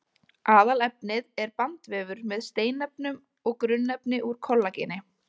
Aðalefnið er bandvefur með steinefnum og grunnefni úr kollageni.